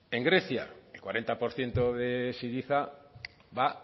en grecia el cuarenta por ciento de syriza va